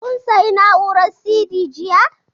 Kun sayi na'urar CD jiya?